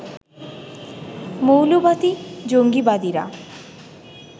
মৌলবাদী-জঙ্গীবাদীরা